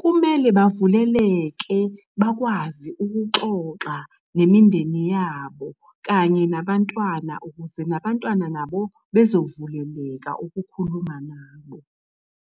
Kumele bavuleleke bakwazi ukuxoxa nemindeni yabo kanye nabantwana ukuze nabantwana nabo bezovuleleka ukukhuluma nabo.